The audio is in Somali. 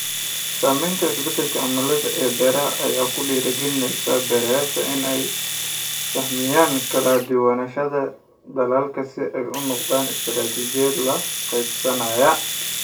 Saamaynta isbeddelka cimilada ee beeralayda ayaa ku dhiirigelinaysa beeralayda inay sahamiyaan kala-duwanaanshaha dalagga si ay u noqoto istaraatijiyad la qabsanaysa.